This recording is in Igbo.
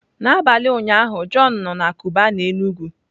N'abalị ụnyaahụ john nọ na Cubana Enugu